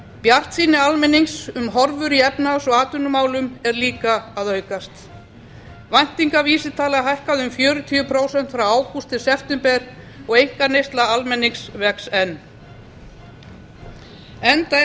bjartsýni almennings um horfur í efnahags og atvinnumálum er líka að aukast væntingavísitalan hækkaði um fjörutíu prósent frá ágúst til september og einkaneysla almennings vex enn enda er